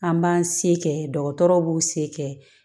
An b'an se kɛ dɔgɔtɔrɔ b'u se kɛ